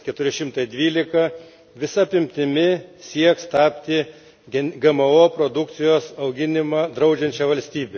412 visa apimtimi sieks tapti GMO produkcijos auginimą draudžiančia valstybe.